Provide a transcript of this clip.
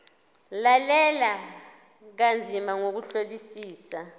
lalela kanzima ngokuhlolisisa